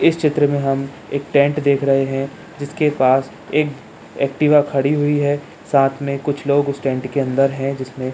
इस चित्र में हम एक टेंट देख रहे हैं जिसके पास एक एक्टिवा खड़ी हुई है साथ में कुछ लोग टेंट के अंदर है जिसमें --